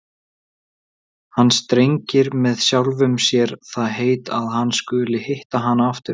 Hann strengir með sjálfum sér það heit að hann skuli hitta hana aftur!